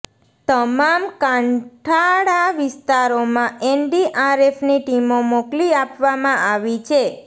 તમામ કાંઠાળા વિસ્તારોમાં એનડીઆરએફની ટીમો મોકલી આપવામાં આવી છે